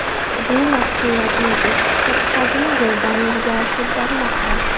Bu mahsulotning eksport hajmi yildan-yilga oshib bormoqda.